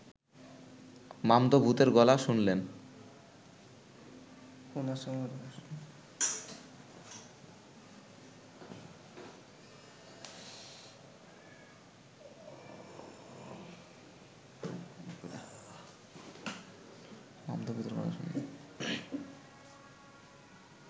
মামদো ভূতের গলা শুনলেন